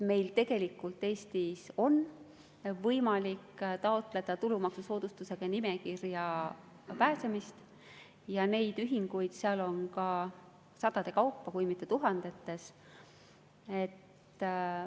Meil tegelikult Eestis on võimalik taotleda tulumaksusoodustuse nimekirja pääsemist ja neid ühinguid seal on ka sadade kaupa, kui mitte tuhandetes.